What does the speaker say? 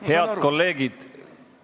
Head kolleegid!